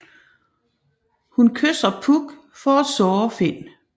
Hun kysser Puck for at såre Finn